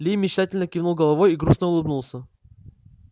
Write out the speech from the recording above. ли мечтательно кивнул головой и грустно улыбнулся